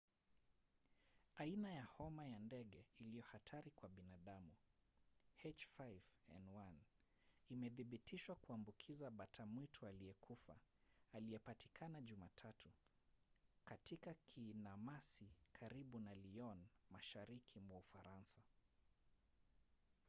aina ya homa ya ndege iliyo hatari kwa binadamu h5n1 imethibitishwa kuambukiza bata mwitu aliyekufa aliyepatikana jumatatu katika kinamasi karibu na lyon mashariki mwa ufaransa